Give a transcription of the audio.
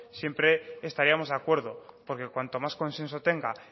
siempre estaríamos de acuerdo porque cuanto más consenso tenga